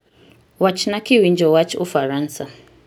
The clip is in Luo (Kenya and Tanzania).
Wachna kiwinjo wach ufaransa